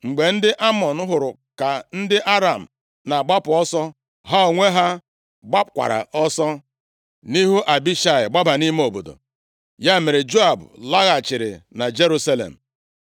Mgbe ndị Amọn hụrụ ka ndị Aram na-agbapụ ọsọ, ha onwe ha gbakwaara ọsọ nʼihu Abishai, gbaba nʼime obodo. Ya mere, Joab laghachiri na Jerusalem.